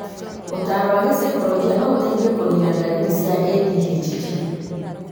ũtaaro wa gicaikoronjĩ no ũteithia kũnina ndariri cia ADHD